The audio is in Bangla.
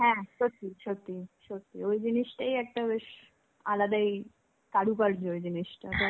হ্যাঁ, সত্যি সত্যি সত্যি. ওই জিনিসটাই একটা বেশ আলাদাই কারুকার্য হয়ে যায় জিনিষটাতো.